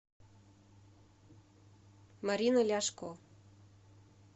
марины ляшко